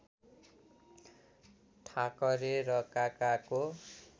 ठाकरे र काकाको